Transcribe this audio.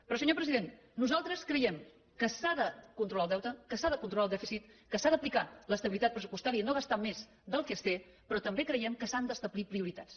però senyor president nosaltres creiem que s’ha de controlar el deute que s’ha de controlar el dèficit que s’ha d’aplicar l’estabilitat pressupostària i no gastar més del que es té però també creiem que s’han d’establir prioritats